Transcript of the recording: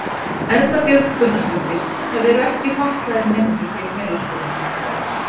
Erla Björg Gunnarsdóttir: Það eru ekki fatlaðir nemendur hér í Melaskóla?